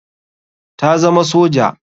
Ta zama soja.